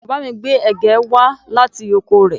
Bàbá mi gbé ẹ̀gẹ́ wá láti oko rẹ̀